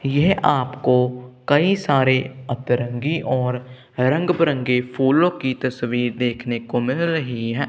यह आपको कई सारे अतरंगी और रंग बिरंगे फूलों की तस्वीर देखने को मिल रही है।